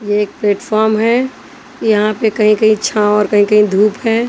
यह एक प्लेटफॉर्म है यहां पे कहीं कहीं छांव और कहीं कहीं धूप है।